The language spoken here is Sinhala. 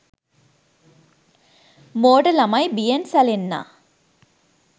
මෝඩ ළමයි බියෙන් සැලෙන්නා